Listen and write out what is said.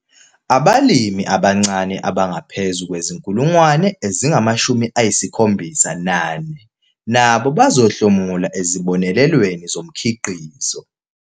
Abalimi abancane abangaphezu kwezi-74 000 nabo bazohlomula ezibonelelweni zomkhiqizo.